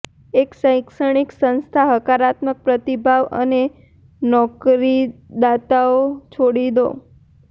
એક શૈક્ષણિક સંસ્થા હકારાત્મક પ્રતિભાવ અને નોકરીદાતાઓ છોડી દો